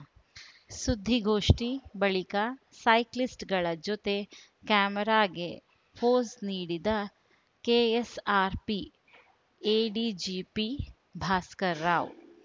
ಸುದ್ದಿಗೋಷ್ಠಿ ಬಳಿಕ ಸೈಕ್ಲಿಸ್ಟ್‌ಗಳ ಜತೆ ಕ್ಯಾಮೆರಾಗೆ ಫೋಸು ನೀಡಿದ ಕೆಎಸ್‌ಆರ್‌ಪಿ ಎಡಿಜಿಪಿ ಭಾಸ್ಕರ್‌ರಾವ್‌